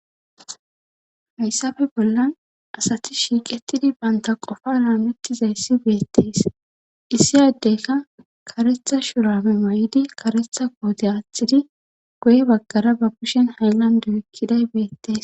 hayssafe bollan asati shiiqetidi banta qofa laamettizayssi beyettees issi yaddeyka karetha shurame may7idi karetha koote aaththidi goye baggara ba kushen haylande ekkiday beyettees